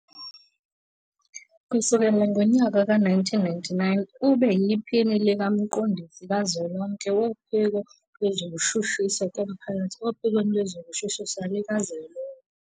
Kusukela ngo-1999 ube yiPhini likaMqondisi Kazwelonke Wophiko Lwezokushushiswa Komphakathi ophikweni Lwezokushushisa Likazwelonke.